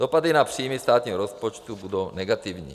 Dopady na příjmy státního rozpočtu budou negativní."